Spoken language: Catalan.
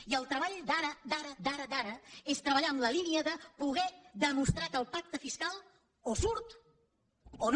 i el treball d’ara d’ara d’ara d’ara és treballar en la línia de poder demostrar que el pacte fiscal o surt o no